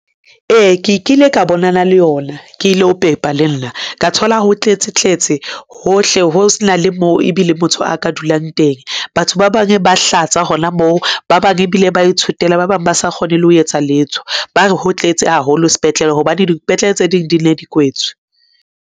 Ee, ke kile ka bonana le yona ke ilo pepa le nna ka thola, ho tletse tletse hohle, ho se na le moo ebile motho a ka dulang teng. Batho ba bang ba hlatsa hona moo ba bang ebile ba ithotela ba bang ba sa kgone le ho etsa letho, ba re ho tletse haholo spetlele hobane dipetlele tse ding di ne di kwetswe.